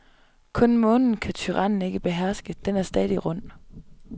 Kun månen kan tyrannen ikke beherske, den er stadig rund.